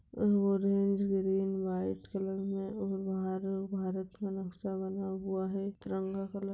Orange green white colour में आ बाहर भारत का नक्शा बना हुआ है। तिरंगा कलर --